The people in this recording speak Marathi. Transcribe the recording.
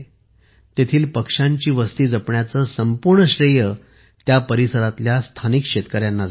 येथील पक्ष्यांची वस्ती जपण्याचे संपूर्ण श्रेय परिसरातील स्थानिक शेतकर्यांना जाते